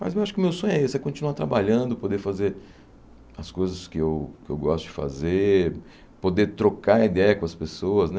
Mas eu acho que o meu sonho é esse, é continuar trabalhando, poder fazer as coisas que eu que eu gosto de fazer, poder trocar ideia com as pessoas né.